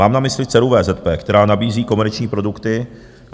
Mám na mysli dceru VZP, která nabízí komerční produkty.